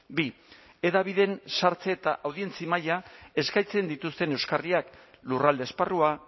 bi hedabideen sartze eta audientzia maila eskaintzen dituzten euskarriak lurralde esparrua